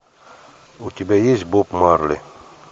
у тебя есть боб марли